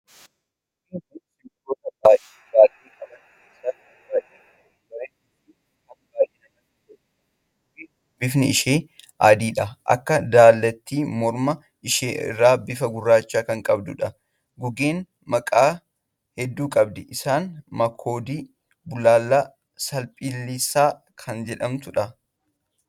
Gugeen kun simbirroota baalleen qaban keessaa kan baay'ee bareedduu fi kan baay'ee namatti toltuudha. Gugeen kun bifti ishee adii akka daalatti morma ishee irra bifa gurraacha kan qabduudha. Gugeen maqaa hedduu qabdi. Isaanis makoodii, bullaallaa, saphaliisa kan jedhamtuudha.